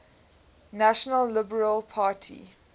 national liberal party